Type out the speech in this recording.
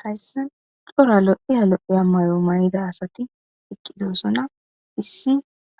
Hayssan xora lo'iya lo'iya mayo mayida asati eqqidosona issi